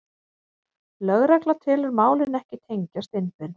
Lögregla telur málin ekki tengjast innbyrðis